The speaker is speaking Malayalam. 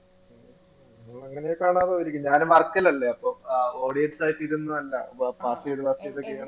ഞാനും work ലല്ലേ അപ്പോ ആ audience ആയിട്ട് ഇരുന്ന് കണ്ടതാ